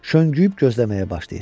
Şönüyüb gözləməyə başlayır.